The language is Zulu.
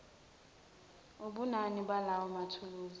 ubunini balawo mathuluzi